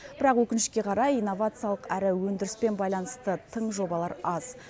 бірақ өкінішке қарай инновациялық әрі өндіріспен байланысты тың жобалар аз